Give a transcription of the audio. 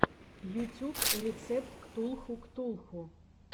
ютюб рецепт ктулху ктулху